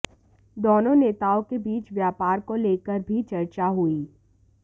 दोनों नेताओं के बीच व्यापार को लेकर भी चर्चा हुई